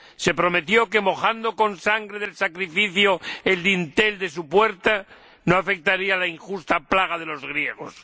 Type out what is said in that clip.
Se prometió que, mojando con la sangre del sacrificio el dintel de su puerta, no afectaría la injusta plaga de los griegos.